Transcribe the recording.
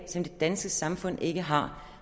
som det danske samfund ikke har